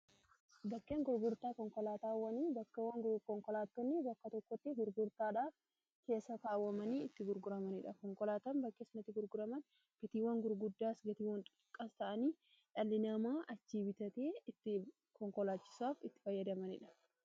Bakkeen gurgurtaa konkolaataawwani bakkeewwan konkolaattonni bakka tokkotti gurgurtaadha keessa taawwamanii itti gurguramaniidha konkolaatan bakkeen sunati gurguraman bitiiwwan gurguddaas gatiiwwan tuqqas ta'anii dhal'inamaa achii bitatee itti konkolaachisaaf itti fayyadamaniidha.